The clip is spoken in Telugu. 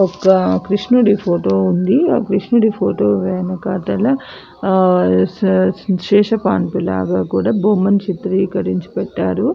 ఒక కృషునుడు ఫోటో ఉంది ఆ కృషునుడు ఫోటో వెనకాల శేష పాండురంగ లాగ చిత్రీకరరించి పెట్టారు --